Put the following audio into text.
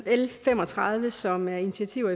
l fem og tredive som er initiativer